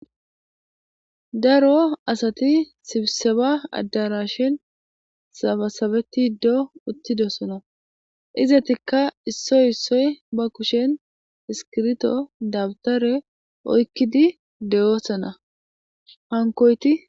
daro asati sibseba addarashin sabasabeti ddo uttidossona izatikka issoy issoy ba kushen iskirto dabtare oykkidi de7oosana hankoyti